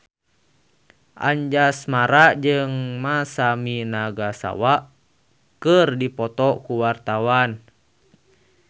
Anjasmara jeung Masami Nagasawa keur dipoto ku wartawan